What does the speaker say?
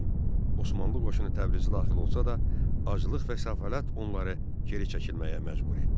Osmanlı qoşunu Təbrizə daxil olsa da, aclıq və səfalət onları geri çəkilməyə məcbur etdi.